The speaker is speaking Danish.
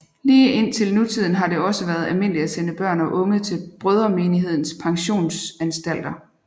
Lige indtil nutiden har det også været almindeligt at sende børn og unge til Brødremenighedens pensionsanstalter